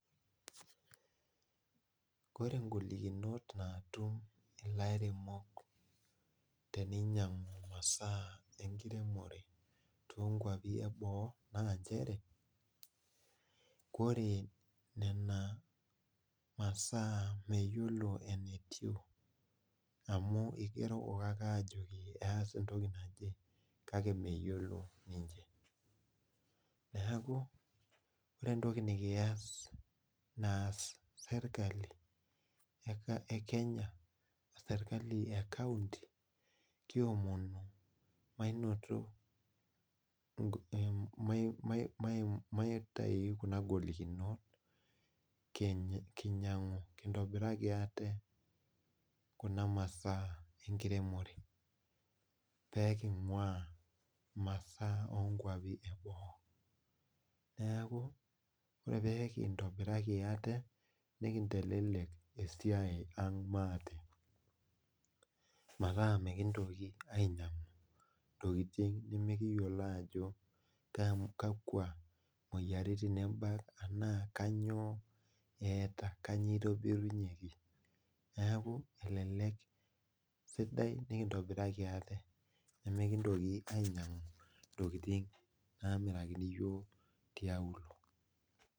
Ore ingolikinot naatum ilairemok teninyang'u imasaa enkiremore toonkwapi e boo naa nchere, kore nena masaa meyiolo enetiu amu igerokoki ake aajo eas entoki naje kake meyiolo ninche. Neeku ore entoki nekiyas, naas serikali e Kenya ashu serikali e County kiomonu mainoto, maitayu kuna golikinot kinyang'u kintobiraki ate kuna masaa enkiremore pee king'waa imasaa oo nkwapi e boo. Neeku ore pee kintobiraki ate nekintelelek esiai ang maate metaa mekintoki ainyang' ntokiting nemekiyiolo ajo kakwa moyiaritin ebak enaa kanyoo eeta, kanyoo itobirunyeki. Neeku elelek, sidai nikintobiraki ate nimikintoki ainyang'u intokiting naamirakini iyiok tiaulo